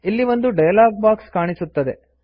ಇಲ್ಲಿ ಒಂದು dialogue box ಕಾಣಿಸುತ್ತದೆ